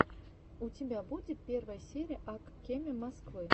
у тебя будет первая серия ак кеме москвы